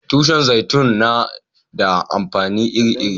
Tushin zaitun na da amfani iri-iri.